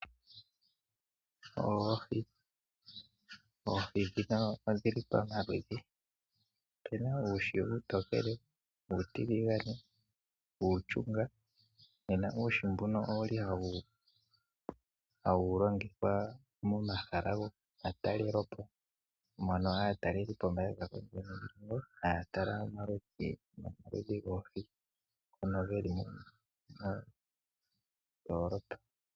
Oohi Oohi ndhino odhi li pamaludhi. Opu na uuhi uutookele, uutiligane, uushunga nena uuhi mbuno owu li hawu longithwa momahala gomatalelopo mono aatalelipo haya tala omaludhi goohi ngono ge li mondoolopa.